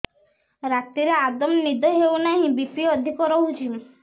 ରାତିରେ ଆଦୌ ନିଦ ହେଉ ନାହିଁ ବି.ପି ଅଧିକ ରହୁଛି